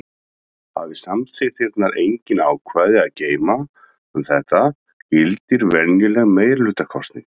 Hafi samþykktirnar engin ákvæði að geyma um þetta gildir venjuleg meirihlutakosning.